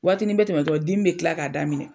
Waati ni bɛ tɛmɛ dɔron dimi bɛ kila k'a daminɛ.